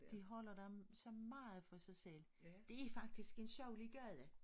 De holder dem sig meget for sig selv. Det faktisk en sjaulier gade